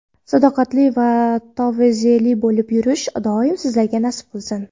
sadoqatli va tavozeli bo‘lib yurish doim sizlarga nasib qilsin.